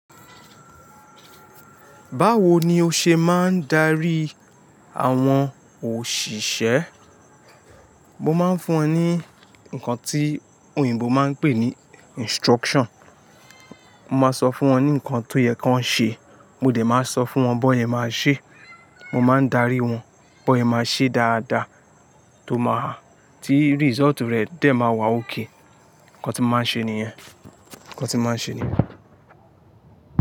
Báwo ni o ṣe máa ń darí àwọn òṣìṣẹ́? Mo máa ń fún wọn ní nǹkan tí òyìnbó máa ń pè ní instruction. Mo máa sọ fún wọn ní nǹkan tó yẹ kí wọ́n ṣe. Mo dẹ̀ máa sọ fún wọn bó ẹ máa ṣe. Mo máa ń darí wọn, bó ẹ máa ṣe dáadáa, tó máa ti result rẹ̀ dẹ̀ máa wá ok. Nǹkan tí mo máa ń ṣe nìyẹn. Nǹkan tí mo máa ń ṣe nìyẹn.